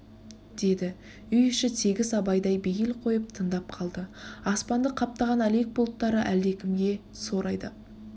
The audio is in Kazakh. деді үй іші тегіс абайдай бейіл қойып тындап қалды аспанды қаптаған әлек бұлттары әлдекімге сор айдап